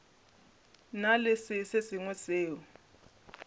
na le se sengwe seo